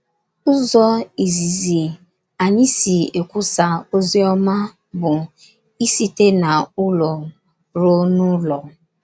Ụzọ izizi anyị si ekwusa ozi ọma bụ ị site n’ụlọ rụọ n’ụlọ.